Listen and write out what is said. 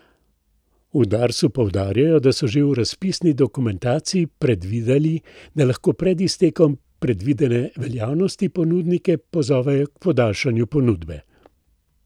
V Darsu poudarjajo, da so že v razpisni dokumentaciji predvideli, da lahko pred iztekom predvidene veljavnosti ponudnike pozovejo k podaljšanju ponudbe.